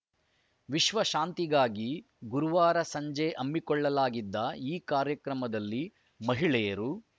ವಿಶ್ವ ಶಾಂತಿಗಾಗಿ ಗುರುವಾರ ಸಂಜೆ ಹಮ್ಮಿಕೊಳ್ಳಲಾಗಿದ್ದ ಈ ಕಾರ್ಯಕ್ರಮದಲ್ಲಿ ಮಹಿಳೆಯರು